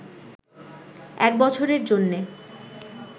এক বছরের জন্যে